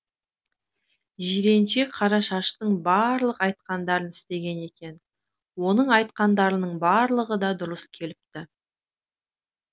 жиренше қарашаштың барлық айтқандарын істеген екен оның айтқандарының барлығы да дұрыс келіпті